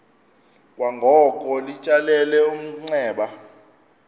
kwangoko litsalele umnxeba